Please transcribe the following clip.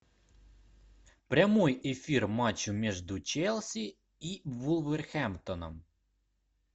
прямой эфир матча между челси и вулверхэмптоном